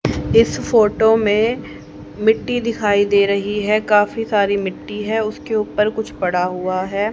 इस फोटो में मिट्टी दिखाई दे रही है काफी सारी मिट्टी है उसके ऊपर कुछ पड़ा हुआ है।